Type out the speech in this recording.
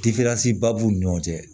ba b'u ni ɲɔgɔn cɛ